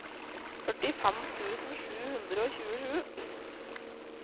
førtifem tusen sju hundre og tjuesju